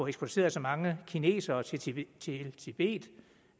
eksporteret så mange kinesere til tibet tibet